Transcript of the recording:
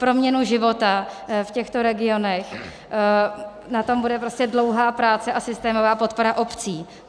Proměna života v těchto regionech - na tom bude prostě dlouhá práce a systémová podpora obcí.